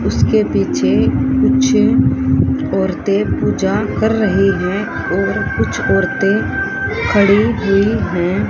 उसके पीछे कुछ औरतें पूजा कर रही हैं और कुछ औरतें खड़ी हुई हैं।